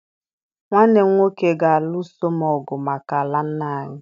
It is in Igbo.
Nwanne m nwoke ga-alụso m ọgụ maka ala nna anyị